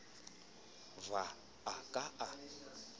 v ha a ka a